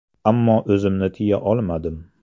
Ammo o‘zimni tiya olmadim.